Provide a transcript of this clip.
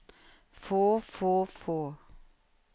få få få